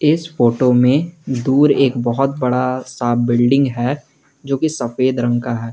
इस फोटो में दूर एक बहुत बड़ा सा बिल्डिंग है जो की सफेद रंग का है।